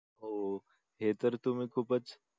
हो हे तर तुम्ही खूपच